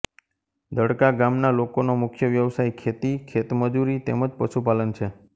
દડકા ગામના લોકોનો મુખ્ય વ્યવસાય ખેતી ખેતમજૂરી તેમ જ પશુપાલન છે